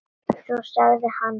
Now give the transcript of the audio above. Svo sagði hann